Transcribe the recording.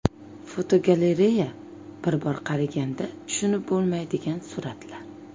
Fotogalereya: Bir bor qaraganda tushunib bo‘lmaydigan suratlar.